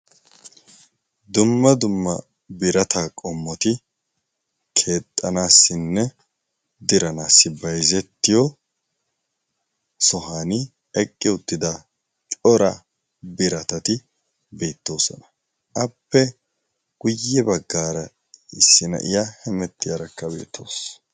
dumma dumma birata qommoti keexxanaassinne diranaassi bayzettiyo sohan eqqi uttida cora biratati beettoosona. appe guyye baggaara issi na'iya hemetti aarakka beettoosona.